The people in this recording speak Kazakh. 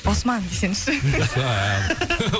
осман десеңізші